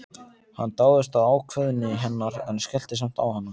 Hann dáðist að ákveðni hennar en skellti samt á hana.